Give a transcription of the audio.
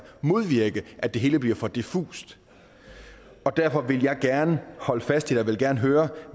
modvirke at det hele bliver for diffust derfor vil jeg gerne holde fast i jeg vil gerne høre